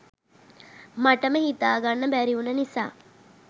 මටම හිතා ගන්න බැරි උන නිසා